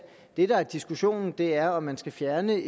det der er diskussionen er om man skal fjerne